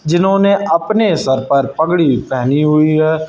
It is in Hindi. जिन्होंने अपने सर पर पगड़ी पहनी हुई है।